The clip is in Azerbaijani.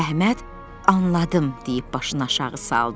Əhməd anladım deyib başını aşağı saldı.